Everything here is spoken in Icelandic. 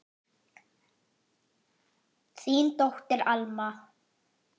Þín dóttir, Alma.